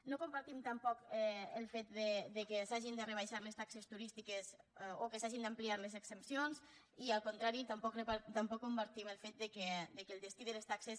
no compartim tampoc el fet que s’hagin de rebaixar les taxes turístiques o que s’hagin d’ampliar les exempcions i al contrari tampoc compartim el fet que el destí de les taxes